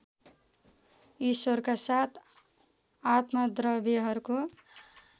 ईश्वरका साथ आत्मद्रव्यहरूको